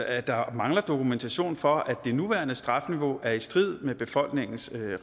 at der mangler dokumentation for at det nuværende strafniveau er i strid med befolkningens